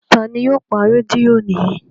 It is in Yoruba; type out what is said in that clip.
Ta ni yóò pa rédíò yìí?